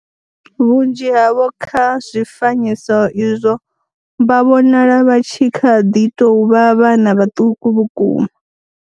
Vhunzhi havho kha zwifanyiso izwo vha vhonala vha tshi kha ḓi tou vha vhana vhaṱuku vhukuma.